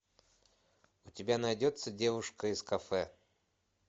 у тебя найдется девушка из кафе